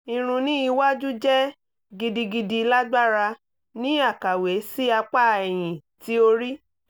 irun ni iwaju jẹ gidigidi lagbara ni akawe si apa ẹhin ti ori